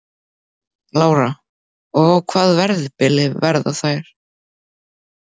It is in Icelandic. Lára: Og á hvaða verðbili verða þær?